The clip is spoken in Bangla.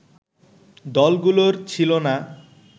দলগুলোর ছিল না